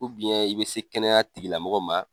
i bɛ se kɛnɛya tigi lamɔgɔ ma.